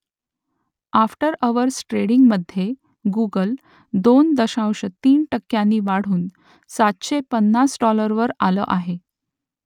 after hours ट्रेडिंगमधे Google दोन दशांश तीन टक्क्यांनी वाढून सातशे पन्नास डाॅलरवर आलं आहे